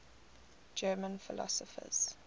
german philosophers